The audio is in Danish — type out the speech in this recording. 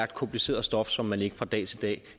kompliceret stof som man ikke fra dag til dag